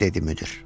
dedi müdir.